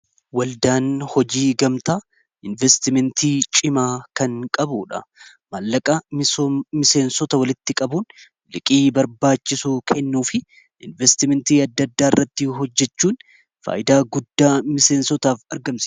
waldaan hojii gamtaa investimentii cimaa kan qabu dha maallaqa miseensota walitti qabuun liqii barbaachisu kennuu fi investimentii addaaddaa irratti hojjechuun faayidaa guddaa miseensotaaf argamtusa